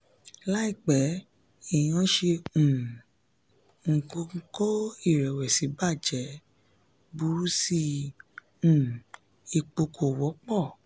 láìpẹ́ èèyàn ṣe um nǹkan kó ìrẹ̀wẹ̀sì ba jẹ́; burú sí i nítorí um epo kò wọ́pọ̀.